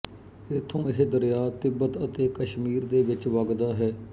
ਇੱਥੋਂ ਇਹ ਦਰਿਆ ਤਿੱਬਤ ਅਤੇ ਕਸ਼ਮੀਰ ਦੇ ਵਿੱਚ ਵਗਦਾ ਹੈ